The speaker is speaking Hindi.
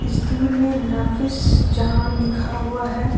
दूर मे नाफिस जहान लिखा हुआ है।